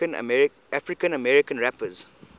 african american rappers